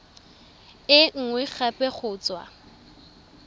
e nngwe gape go tswa